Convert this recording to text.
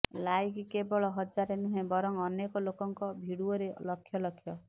like କେବଳ ହଜାରେ ନୁହେଁ ବରଂ ଅନେକ ଲୋକଙ୍କ ଭିଡିଓରେ ଲକ୍ଷ ଲକ୍ଷ